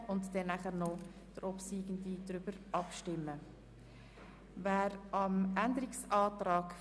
: Der Spitex soll eine Übergangsfrist von einem Jahr gewährt werden, die zu einer Systemanpassung genutzt werden soll (weg von pro-Kopf-Beiträgen).